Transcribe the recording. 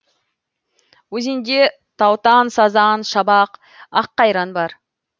өзенде таутан сазан шабақ аққайран бар